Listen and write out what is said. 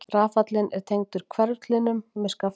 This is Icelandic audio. Rafallinn er tengdur hverflinum með skafti.